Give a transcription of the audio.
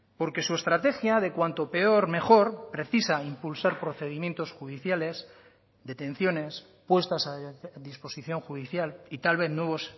porque su estrategia de cuanto peor mejor precisa impulsar procedimientos judiciales detenciones puestas a disposición judicial y tal vez nuevos